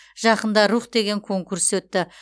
жақында рух деген конкурс өтті